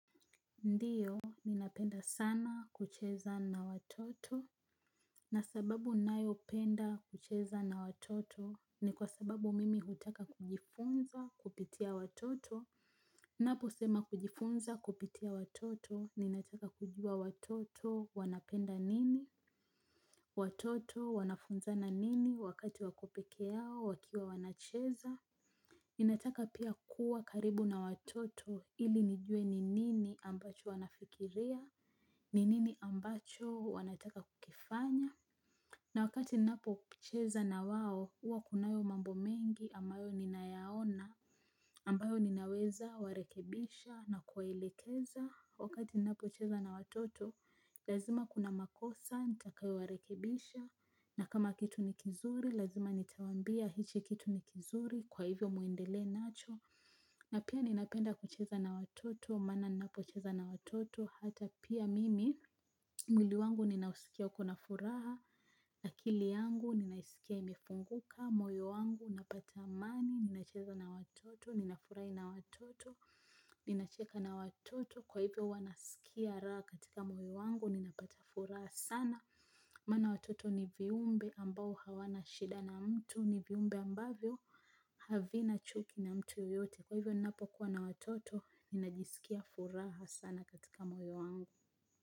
Ndiyo, ninapenda sana kucheza na watoto. Na sababu nayo penda kucheza na watoto. Ni kwa sababu mimi hutaka kujifunza kupitia watoto. Napo sema kujifunza kupitia watoto. Ninataka kujua watoto wanapenda nini. Watoto wanafunzana nini wakati wako pekeyao wakiwa wanacheza. Ninataka pia kuwa karibu na watoto ili nijue ni nini ambacho wanafikiria. Ninini ambacho wanataka kukifanya. Na wakati napocheza na wao uwa kunayo mambo mengi ambayo nina yaona ambayo ninaweza warekebisha na kuwaelekeza. Wakati napo cheza na watoto lazima kuna makosa, nitakayo warekebisha. Na kama kitu ni kizuri, lazima nitawambia. Hiki kitu ni kizuri, kwa hivyo muendelee nacho. Na pia ninapenda kucheza na watoto. Maana napo cheza na watoto, hata pia mimi mwili wangu ninausikia uko na furaha na akili yangu ninaisikia imefunguka. Moyo wangu napata amani, ninacheza na watoto, ninafurahi na watoto. Ninacheka na watoto kwa hivyo wanasikia raha katika moyo wangu ninapata furaha sana. Maana watoto ni viumbe ambao hawana shida na mtu. Ni viumbe ambavyo havi na chuki na mtu yeyote. Kwa hivyo ninapo kuwa na watoto, ninajisikia furaha sana katika moyo wangu.